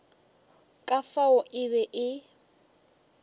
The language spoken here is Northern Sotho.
ka fao e be e